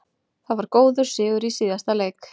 Það var góður sigur í síðasta leik.